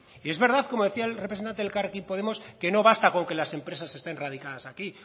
y es verdad como decía el representante de elkarrekin podemos que no basta con que las empresas estén radicadas aquí